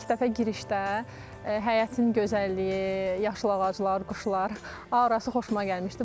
İlk dəfə girişdə həyətin gözəlliyi, yaşıl ağaclar, quşlar, aurasi xoşuma gəlmişdi.